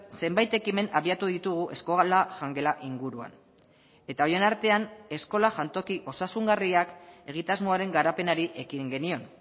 zenbait ekimen abiatu ditugu eskola jangela inguruan eta horien artean eskola jantoki osasungarriak egitasmoaren garapenari ekin genion